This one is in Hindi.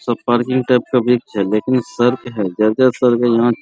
सब पार्किंग टाइप का वृक्ष हैलेकिन सड़क है जगह सड़क है यहाँ --